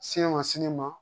Sini ma sini ma